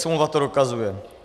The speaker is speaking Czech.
Smlouva to dokazuje.